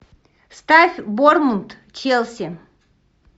ставь борнмут челси